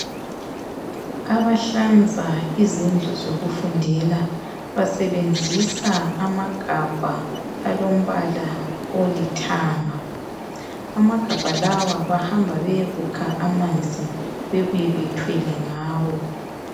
Abahlanza izindlu zokufundela basebenzisa amagabha alombala olithanga. Amagabha lawa bahamba beyekukha amanzi bebuye bethwele ngawo.